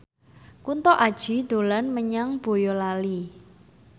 Kunto Aji dolan menyang Boyolali